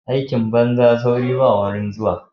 Aikin banza sauri ba wurin zuwa.